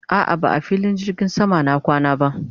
a'a ba a filin jirgin sama na kwana ba